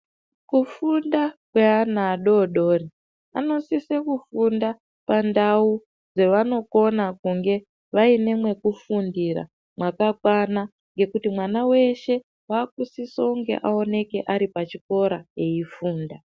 Kufunda kweana adodori anosisae Kufunda pandau dzevanokona kunge vaine mwekufundira mwakakwana ngekuti mwana weshe wakusiso kunge aoneke ari pachikora eifunda.